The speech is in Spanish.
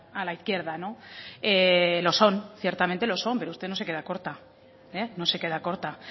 a la izquierda no lo son ciertamente lo son pero usted no se queda corta no se queda corta